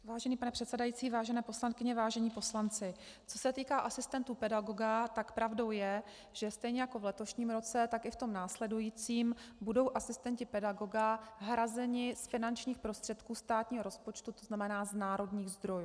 Vážený pane předsedající, vážené poslankyně, vážení poslanci, co se týká asistentů pedagoga, tak pravdou je, že stejně jako v letošním roce, tak i v tom následujícím budou asistenti pedagoga hrazeni z finančních prostředků státního rozpočtu, to znamená z národních zdrojů.